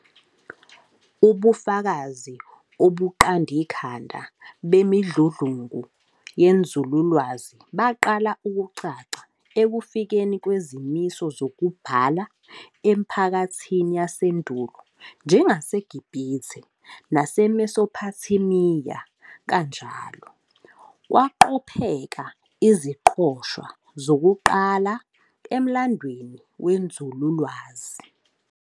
Ubufakazi obuqandikhanda bemidludlungu yenzululwazi baqala ukucaca ekufikeni kwezimiso zokubhala emiphakathini yasendulo njengaseGibhithe naseMesopothamiya, kanjalo kwaqopheka iziqoshwa zokuqala emlandweni wenzululwazi.